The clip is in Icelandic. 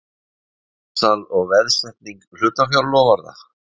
Framsal og veðsetning hlutafjárloforða.